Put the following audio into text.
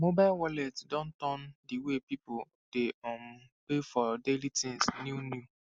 mobile wallet don turn the way people dey um pay for daily things new new